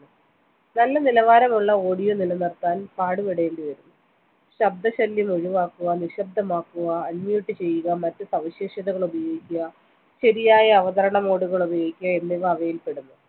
നല്ല നിലാവരമുള്ള audio നിലനിർത്താൻ പാടുപെടേണ്ടിവരും ശബ്ദശല്യം ഒഴിവാക്കുവ നിശബ്ദമാക്കുവാ unmute ചെയ്യുക മറ്റുസവിശേഷതകൾ ഉപയോഗിക്കുക ശരിയായ അവതരണ mode കൾ ഉപയോഗിക്കുക എന്നിവ അവയിൽ പെടുന്നു